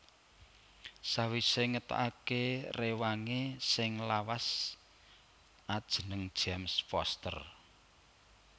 Sawisé ngetokaké réwangé sing lawas ajeneng James Foster